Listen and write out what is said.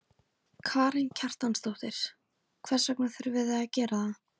Karen Kjartansdóttir: Hvers vegna þurfið þið að gera það?